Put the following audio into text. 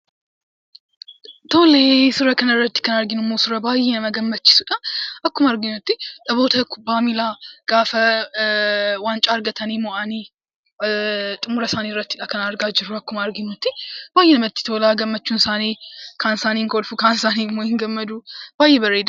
Suuraa kanarratti kan argaa jirru baay'ee kan nama gammachiisudha. Akkuma arginutti namoota kubbaa miilaa gaafa waancaa argatanii mo'anii xumura isaaniirrattidha; kan argaa jirru akkuma arginutti baay'ee namatti tola. Gammachuun isaanii kaan isaanii ni kolfu, kaan isaanii ni gammadu; baay'ee bareedaadha.